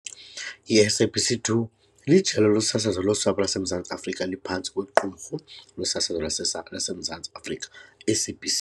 I-SABC 2 lijelo losasazo losapho laseMzantsi Afrika eliphantsi kweQumrhu losasazo laseMzantsi Afrika, SABC.